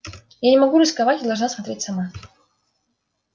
я не могу рисковать и должна смотреть сама